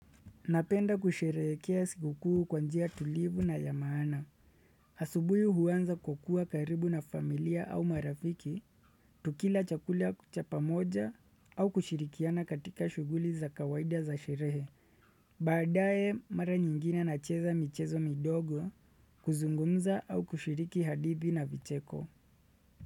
Napenda kusherehekea siku kuu kwa njia tulivu na ya maana. Asubuhi huanza kukua karibu na familia au marafiki, tukila chakula cha pamoja au kushirikiana katika shuguli za kawaida za sherehe. Baadae mara nyingine nacheza michezo midogo, kuzungumza au kushiriki hadithi na vicheko.